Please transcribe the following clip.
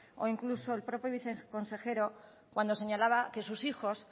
o incluso el propio viceconsejero cuando señalaba que sus hijos